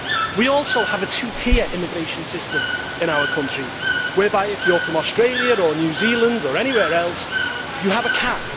We also have a two tier immigration system in our country whereby if you are from Australia or New Zealand or anywhere else, you have a cap.